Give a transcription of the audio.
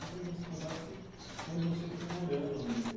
Eu queria que você contasse onde você foi morando ao longo desse